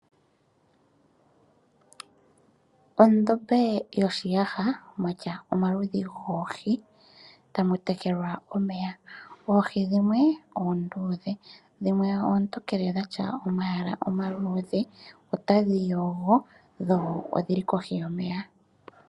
Ondombe yoshiyaha mwatya omaludhi goohi tamu tekelwa omeya . Oohi dhimwe oondhuudhe dhimwe oontokele dhatya omayala omaluudhe otadhi yogo dho odhili kohi yomeya.